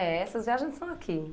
É, essas viagens são aqui.